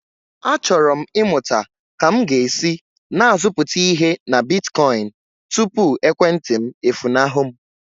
Achọrọ m ịmụta ka m ga-esi na-azụpụta ihe na bitkoịn tupu ekwentị m efunahụ m.